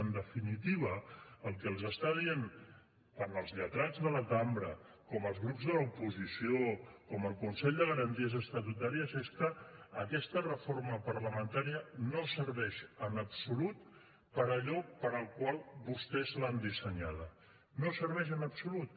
en definitiva el que els estan dient tant els lletrats de la cambra com els grups de l’oposició com el consell de garanties estatutàries és que aquesta reforma parlamentària no serveix en absolut per a allò per al qual vostès l’han dissenyada no serveix en absolut